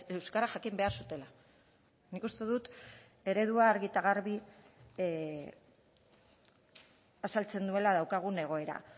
euskara jakin behar zutela nik uste dut eredua argi eta garbi azaltzen duela daukagun egoera